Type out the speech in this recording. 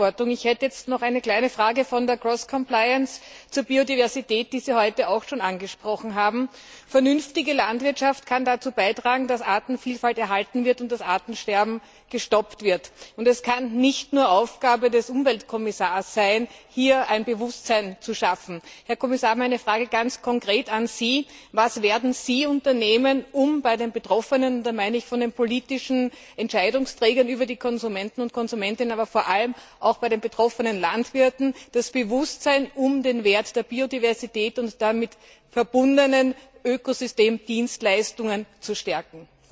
Herr Präsident! Dankeschön dem Herrn Kommissar für die wirklich ausführliche Beantwortung. Ich hätte jetzt noch eine kleine Frage zur und Biodiversität, die Sie heute auch schon angesprochen haben. Vernünftige Landwirtschaft kann dazu beitragen, dass Artenvielfalt erhalten wird und das Artensterben gestoppt wird. Es kann aber nicht nur Aufgabe des Umweltkommissars sein, hier ein Bewusstsein zu schaffen. Herr Kommissar, meine Frage ganz konkret an Sie Was werden Sie unternehmen, um bei den Betroffenen und da meine ich bei den politischen Entscheidungsträgern, den Konsumenten und Konsumentinnen, aber vor allem auch bei den betroffenen Landwirten das Bewusstsein um den Wert der Biodiversität und der damit verbundenen Ökosystemdienstleistungen zu stärken?